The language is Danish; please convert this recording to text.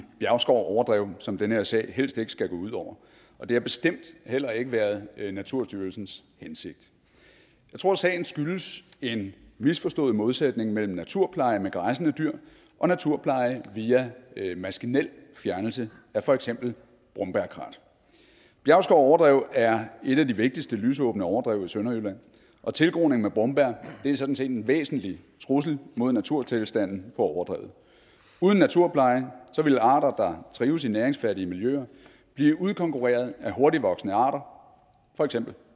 bjergskov overdrev som den her sag helst ikke skal gå ud over og det har bestemt heller ikke været naturstyrelsens hensigt jeg tror at sagen skyldes en misforstået modsætning mellem naturpleje med græssende dyr og naturpleje via maskinel fjernelse af for eksempel brombærkrat bjergskov overdrev er et af de vigtigste lysåbne overdrev i sønderjylland og tilgroning med brombær er sådan set en væsentlig trussel mod naturtilstanden på overdrevet uden naturplejen vil arter der trives i næringsfattige miljøer blive udkonkurreret af hurtigtvoksende arter for eksempel